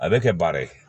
A bɛ kɛ baara ye